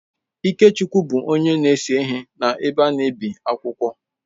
Ikechukwu bụ onye na-ese ihe n’ebe a na-ebi akwụkwọ.